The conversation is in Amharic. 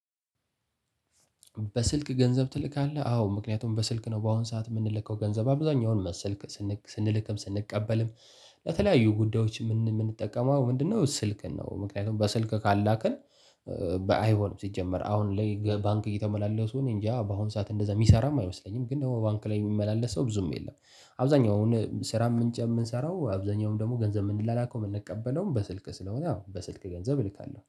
በስልክ ገንዘብ ትልካለህ? አዎ ምክንያቱም በስልክ ነው በአሁን ሰዓት የምንልከው ገንዘብ አብዛኛውን ሰልክ ስንልክም ስንቀበልም ለተለያዩ ጉዳዮች የምንጠቀመው ምንድነው ስልክን ነው። ምክንያቱም በስልክ ካላክን። አይሆንም ሲጀመር አሁን ላይ ባንክ እየተመላለሱ እኔእንጃ በአሁን ሰዓት እንደዛ የሚሰራም አይመስለኝም። ግን ደግሞ ባንክ ላይ የሚመላለስ ሰው ብዙም የለም። አብዛኛው አሁን ስራ ምንጭ የምንሰራው አብዛኛውን ደግሞ ገንዘብ የምንላከው የምንቀበለውም በስልክ ስለሆነ ያው በስልክ ገንዘብ እልካለሁ